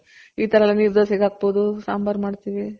ಈ ತರ ಎಲ್ಲ ನೀರ್ ದೊಸೆಗ್ ಹಾಕ್ಬೋದು ಸಾಂಬಾರ್ ಗ್ ಮಾಡ್ತಿವಿ .